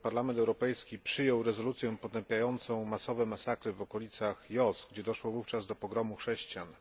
Parlament Europejski przyjął rezolucję potępiającą masowe masakry w okolicach Jos, gdzie doszło wówczas do pogromu chrześcijan.